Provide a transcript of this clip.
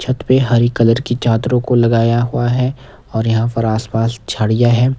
छत पे हरी कलर की चादरों को लगाया हुआ है और यहाँ पर आसपास झाड़ियाँ है।